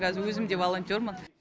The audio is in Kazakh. қазір өзім де волонтермын